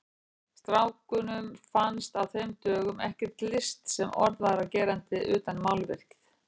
Strákunum fannst á þeim dögum ekkert list sem orð væri á gerandi utan málverkið.